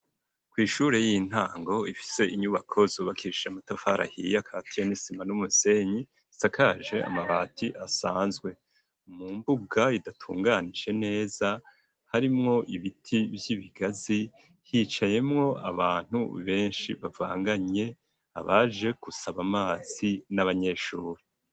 Kw'ishure ry'intango rifise inyubako zubakitse n'amatafari akatiye nisima n'umusenyi isakaje amabati asanzwe mu mbuga idatunganije neza harimwo ibiti vyibigazi hicayemwo abantu benshi bavanganye abaje gusaba amazi n'abanyeshure.